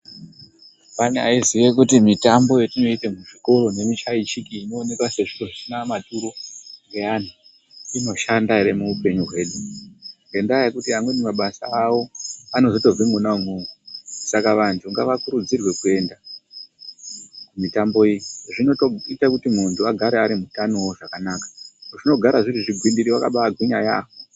Pane aiziya kuti mitambo yatinoite muzvikoro nemishaishiki inooneka sezviro zvisina maturo ngeanhu inoshanda ere muupenyu hwedu ngendaa yekuti amweni mabasa awo anozotobva mwona umwomwo saka vanhu ngavakurudzirwe kuenda kumitambo iyi zvinotoite kuti munhu agare ariwo mutano zvakanaka, zvinogara zviri zvigwindiri vakaba agwinya yamho.